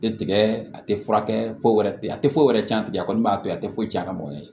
Tɛ tigɛ a tɛ furakɛ foyi wɛrɛ tɛ a tɛ foyi wɛrɛ tiɲɛ a tɛ a kɔni b'a to a tɛ foyi cɛn a mɔgɔn tɛ